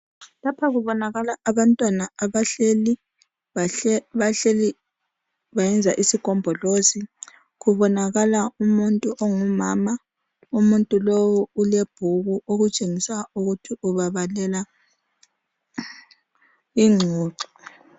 lapha kubonakala abantwana abahleli bahleli bayenza isigombolozi kubonakala umuntu ongumama umuntu lowu ulebhuku okutshengisa ukuthi ubabalela ingxoxo